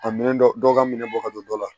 A minɛn dɔ dɔ ka minɛ bɔ ka don dɔ la